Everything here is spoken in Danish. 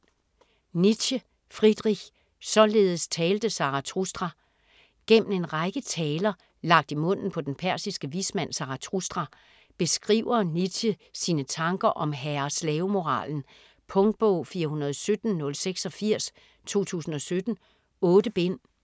Nietzsche, Friedrich: Således talte Zarathustra Gennem en række "taler", lagt i munden på den persiske vismand Zarathustra, beskriver Nietzsche sine tanker om herre-slavemoralen. Punktbog 417086 2017. 8 bind.